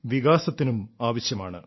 വികാസത്തിനും ആവശ്യമാണ്